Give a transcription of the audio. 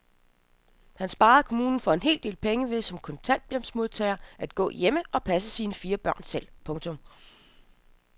Han sparede kommunen for en hel del penge ved som kontanthjælpsmodtager at gå hjemme og passe sine fire børn selv. punktum